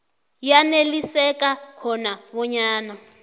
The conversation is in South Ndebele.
yaneliseka khona bonyana